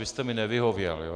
Vy jste mi nevyhověl.